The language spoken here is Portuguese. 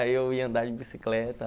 Aí eu ia andar de bicicleta